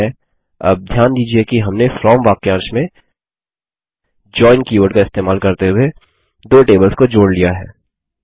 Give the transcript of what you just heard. ठीक है अब ध्यान दीजिये कि हमने फ्रॉम वाक्यांश में जोइन कीवर्ड का इस्तेमाल करते हुए दो टेबल्स को जोड़ लिया है